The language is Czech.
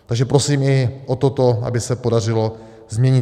Takže prosím i o toto, aby se podařilo změnit.